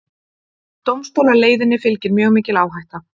Dómstólaleiðinni fylgir mjög mikil áhætta